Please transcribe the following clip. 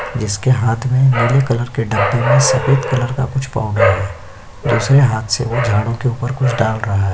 जिसके हाथ में नीले कलर के डब्बे में सफ़ेद कलर का कुछ पाऊडर है। दूसरे हाथ से वो झाड़ू के ऊपर कुछ डाल रहा है।